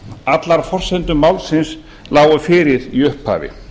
allar forsendur málsins lágu fyrir í upphafi